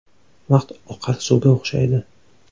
Vaqt oqar suvga o‘xshaydi.